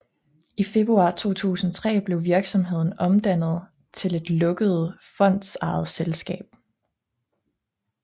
I februar 2003 blev virksomheden omdannet til et lukket fondsejet selskab